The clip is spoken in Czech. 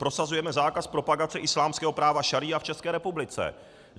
Prosazujeme zákaz propagace islámského práva šaría v České republice.